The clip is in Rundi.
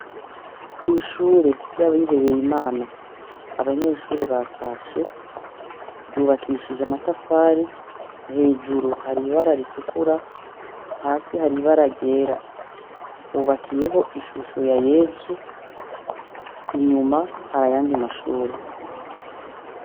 Kw'ishure ry'abihebeye Imana abanyeshure batashe. Ryubakishije amatafari, hejuru hari ibara ritukura, hasi hari ibara ryera. Hubakiyeho ishusho ya Yezu, inyuma hari ayandi mashure.